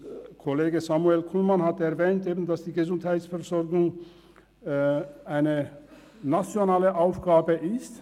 Kollege Kullmann hat erwähnt, dass die Gesundheitsversorgung eine nationale Aufgabe sei.